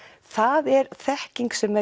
það er þekking sem